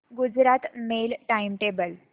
Gujarat mail time table